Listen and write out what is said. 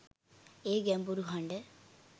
ඒ ගැඹුරු හඬ